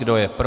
Kdo je pro?